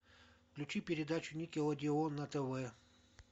включи передачу никелодеон на тв